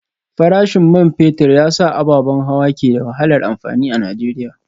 Farashin man fetur ya sa ababen hawa ke da wahalar amfani a Najeriya